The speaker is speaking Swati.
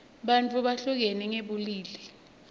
bantfu behlukene ngebulili